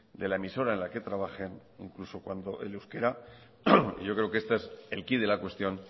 de la emisora en la que trabajen incluso cuando el euskera yo creo que este es el quid de la cuestión